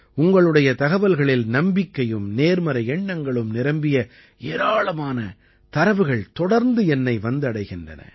உங்களுடைய தகவல்களில் நம்பிக்கையும் நேர்மறை எண்ணங்களும் நிரம்பிய ஏராளமான தரவுகள் தொடர்ந்து என்னை வந்தடைகின்றன